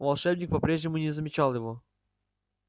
волшебник по-прежнему не замечал его